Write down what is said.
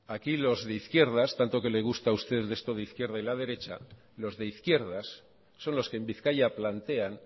aquí los de izquierdas tanto que le gusta a usted esto de la izquierda y la derecha los de izquierdas son los que en bizkaia plantean